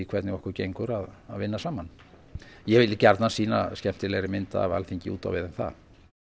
hvernig okkur gengur að vinna saman ég vil gjarnan sýna skemmtilegri mynd af Alþingi út á við en það